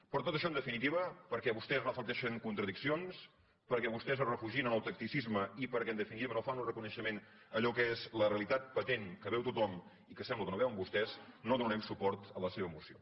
per tot això en definitiva perquè vostès reflecteixen contradiccions perquè vostès es refugien en el tacticisme i perquè en definitiva no fan un reconeixement a allò que és la realitat patent que veu tothom i que sembla que no veuen vostès no donarem suport a la seva moció